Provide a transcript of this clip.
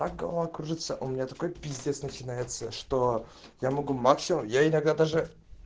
так голова кружится у меня такой пиздец начинается что я могу максимум я иногда даже